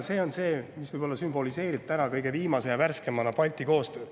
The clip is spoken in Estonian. See on võib-olla see, mis sümboliseerib täna kõige viimase ja värskemana Balti koostööd.